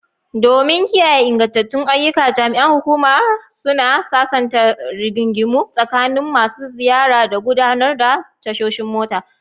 Domin kiyaye ingantattun ayyuka, jami'an hukumar suna sasanta rigingimu tsakanin masu ziyara da gudanar da tashoshin mota.